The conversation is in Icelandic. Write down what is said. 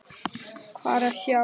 Hvað er að sjá